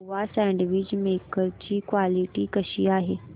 Nova sandwich maker ची quality कशी आहे